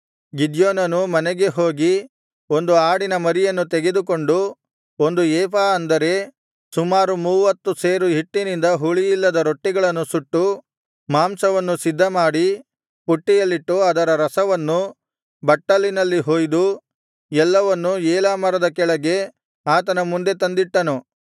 ಗಿದ್ಯೋನನು ಮನೆಗೆ ಹೋಗಿ ಒಂದು ಆಡಿನ ಮರಿಯನ್ನು ತೆಗೆದುಕೊಂಡು ಒಂದು ಏಫಾ ಅಂದರೆ ಸುಮಾರು ಮೂವ್ವತ್ತು ಸೇರು ಹಿಟ್ಟಿನಿಂದ ಹುಳಿಯಿಲ್ಲದ ರೊಟ್ಟಿಗಳನ್ನು ಸುಟ್ಟು ಮಾಂಸವನ್ನು ಸಿದ್ಧಮಾಡಿ ಪುಟ್ಟಿಯಲ್ಲಿಟ್ಟು ಅದರ ರಸವನ್ನು ಬಟ್ಟಲಿನಲ್ಲಿ ಹೊಯ್ದು ಎಲ್ಲವನ್ನೂ ಏಲಾ ಮರದ ಕೆಳಗೆ ಆತನ ಮುಂದೆ ತಂದಿಟ್ಟನು